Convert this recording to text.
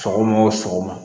Sɔgɔma o sɔgɔma